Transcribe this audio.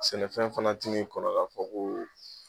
Sɛnɛfɛn fana tin'i kɔnɔ k'a fɔ ko